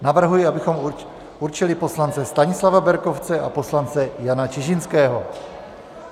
Navrhuji, abychom určili poslance Stanislava Berkovce a poslance Jana Čižinského.